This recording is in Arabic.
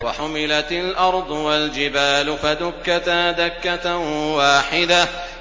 وَحُمِلَتِ الْأَرْضُ وَالْجِبَالُ فَدُكَّتَا دَكَّةً وَاحِدَةً